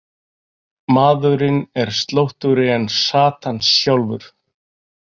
Maðurinn er slóttugri en Satan sjálfur.